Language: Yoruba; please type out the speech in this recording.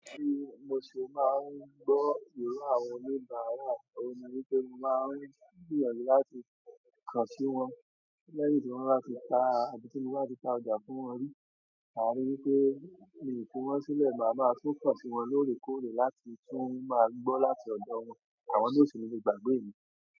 Bí mo ṣe máa ń gbọ́ ìró àwọn oníbàràwà, òun ni wípé mo máa ń gbìyànjú láti kàn sí wọn lẹ́yìn tí wọ́n bá ti ta àbí ti mo bà ti ta ọjà fún wọn rí. Maá rí wípé mi fi wọn sílẹ̀ máa maá tún kàn sí wọn lóòrèkóòrè láti tún máa gbọ́ láti ọ̀dọ̀ wọn. Àwọn náà o si ni le gbàgbé mi?